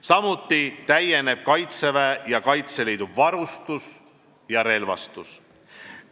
Samuti täieneb kaitseväe ja Kaitseliidu varustus ja relvastus.